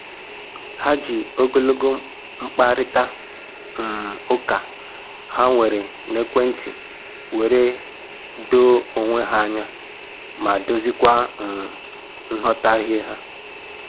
Ha ji ogologo mkparịta um ụka ha nwere n'ekwentị were doo onwe ha anya ma doziekwa um nghọtahie ha